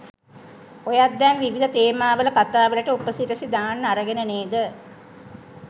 ඔයත් දැන් විවිධ තේමාවල කතා වලට උපසිරැසි දාන්න අරගෙන නේද?